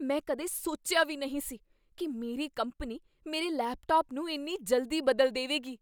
ਮੈਂ ਕਦੇ ਸੋਚਿਆ ਵੀ ਨਹੀਂ ਸੀ ਕੀ ਮੇਰੀ ਕੰਪਨੀ ਮੇਰੇ ਲੈਪਟਾਪ ਨੂੰ ਇੰਨੀ ਜਲਦੀ ਬਦਲ ਦੇਵੇਗੀ!